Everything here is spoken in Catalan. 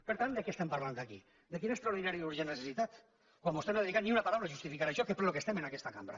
per tant de què estem parlant aquí de quina extraordinària i urgent necessitat quan vostè no ha dedicat ni una paraula per justificar això que és pel que estem en aquesta cambra